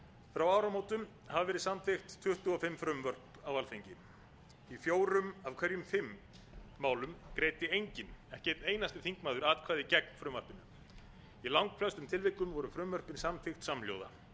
frá áramótum hafa verið samþykkt tuttugu og fimm frumvörp á alþingi í fjórum af hverjum fimm málum greiddi enginn ekki einn einasti þingmaður atkvæði gegn frumvarpinu í langflestum tilvikum voru frumvörpin samþykkt samhljóða